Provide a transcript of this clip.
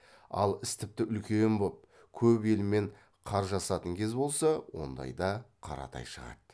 ал іс тіпті үлкен боп көп елмен қаржасатын кез болса ондайда қаратай шығады